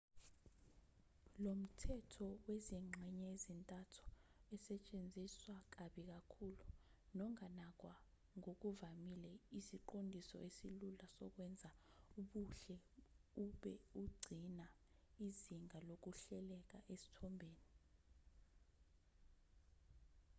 lomthetho wezingxenye ezintathu esetshenziswa kabi kakhulu nonganakwa ngokuvamile isiqondiso esilula sokwenza ubuhle ube ugcina izinga lokuhleleka esithombeni